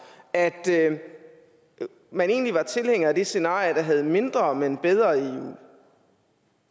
at man egentlig var tilhænger af det scenario der havde mindre men bedre eu